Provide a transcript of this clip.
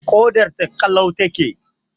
Ƙodar ta ƙalau ta ke